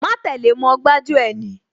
Má tẹ́le mọ́, gbájú ẹ̀ ni